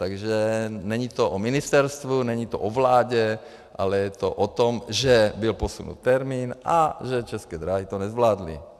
Takže není to o ministerstvu, není to o vládě, ale je to o tom, že byl posunut termín a že České dráhy to nezvládly.